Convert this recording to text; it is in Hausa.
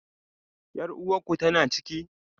Yar uwarku tana ciki?